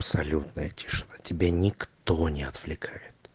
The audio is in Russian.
абсолютная тишина тебя никто не отвлекает